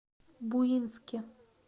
буинске